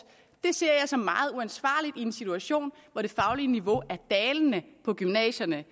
det ser jeg som meget uansvarligt i en situation hvor det faglige niveau på gymnasierne